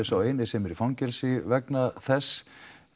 sá eini sem er í fangelsi vegna þess